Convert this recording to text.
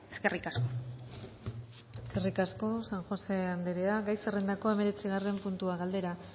eskerrik asko eskerrik asko san josé andrea gai zerrendako hemeretzigarren puntua galdera